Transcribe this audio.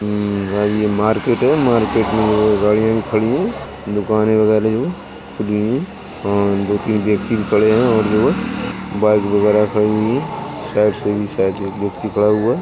ये यह मार्केट है। मार्केट में गाड़ियां खड़ी है। दुकानें वगैरा खुली हैं और दो-तीन व्यक्ति भी खड़े हैं और जो है बाइक वगैरह खड़ी हुई है। साइड से भी शायद एक व्यक्ति खड़ा हुआ है ।